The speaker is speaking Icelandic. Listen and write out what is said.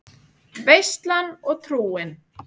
Veislan og trúin